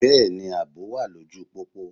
Bẹ́ẹ̀ni, àbò wà lóju pópó.